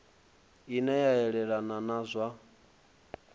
ine a yelana na zwa